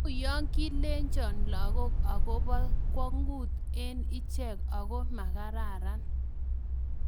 Uyoo kilenjoin lagook aboo kwongut eng icheek Ako maakararan